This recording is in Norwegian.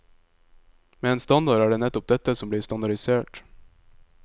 Med en standard er det nettopp dette som blir standardisert.